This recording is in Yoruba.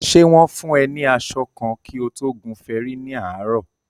Ṣè wọ̀n fùn e ní aṣọ kan kí o tó gùn fẹrí ní àárò?